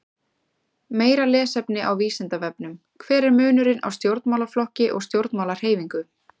Meira lesefni á Vísindavefnum: Hver er munurinn á stjórnmálaflokki og stjórnmálahreyfingu?